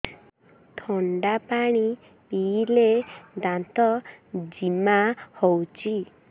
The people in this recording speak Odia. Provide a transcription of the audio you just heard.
ଥଣ୍ଡା ପାଣି ପିଇଲେ ଦାନ୍ତ ଜିମା ହଉଚି